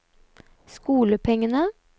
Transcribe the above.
skolepengene